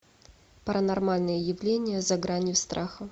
паранормальные явления за гранью страха